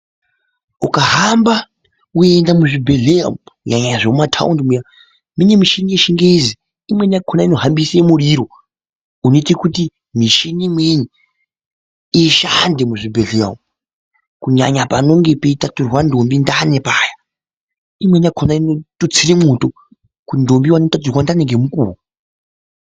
Ukahamba kunida muzvibhedhlera umu nyanya zvemumataundi muya. Mune michini yechingezi imweni yakona inohambise muriro unoite kuti mishini imweni ishande muzvibhehleya umwu. Kunyanya panenge peitaturwa ndombi ndani paya, imweni yakona inotutsire mwoto kuti ndombi ione kutaturwa ndani ngemukuwo.